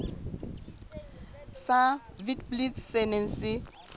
sa witblits se neng se